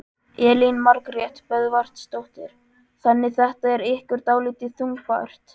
Elín Margrét Böðvarsdóttir: Þannig þetta er ykkur dálítið þungbært?